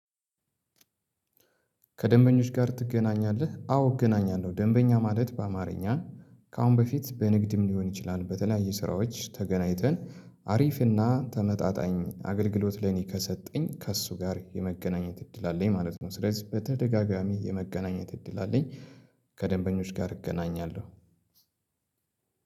ከደንበኞች ጋር ትገናኛለህ? አዎ እገናኛለሁ ደንበኛ ማለት በአማርኛ ከአሁን በፊት በንግድም ሊሆን ይችላል በተለያየ ስራዎች ተገናኝተን አሪፍና ተመጣጣኝ አገልግሎት ለእኔ ከሰጠኝ ከእሱ ጋር የመገናኘት እድል አለኝ ማለት ነው። ስለዚህ በተደጋጋሚ የመገናኘት እድል አለኝ ከደንበኞች ጋር እገናኛለሁ።